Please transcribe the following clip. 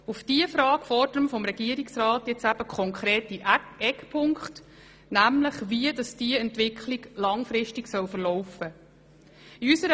Auf diese Frage fordern wir vom Regierungsrat konkrete Eckpunkte, die Auskunft darüber geben, wie diese Entwicklung langfristig verlaufen soll.